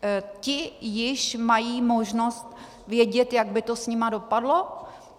Ti již mají možnost vědět, jak by to s nimi dopadlo?